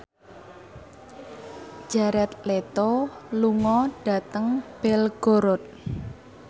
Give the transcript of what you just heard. Jared Leto lunga dhateng Belgorod